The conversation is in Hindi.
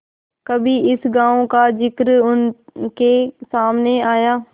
कभी इस गॉँव का जिक्र उनके सामने आया